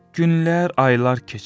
Günlər, aylar keçir.